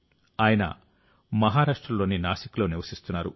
ఆయన మహారాష్ట్రలోని నాసిక్లో నివసిస్తున్నారు